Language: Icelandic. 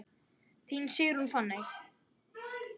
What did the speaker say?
Þín Sigrún Fanney.